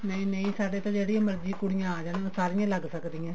ਨਹੀਂ ਨਹੀਂ ਸਾਡੇ ਤਾਂ ਜਿਹੜੀਆਂ ਮਰਜ਼ੀ ਕੁੜੀਆਂ ਆ ਜਾਣ ਸਾਰੀਆਂ ਲੱਗ ਸਕਦੀਆਂ